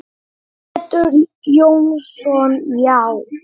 Pétur Jónsson Já.